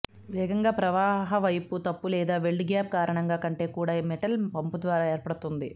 వేగంగా ప్రవాహ పైపు తప్పు లేదా వెల్డ్ గ్యాప్ కారణంగా కంటే కూడా మెటల్ పంపు ద్వారా ఏర్పడుతుంది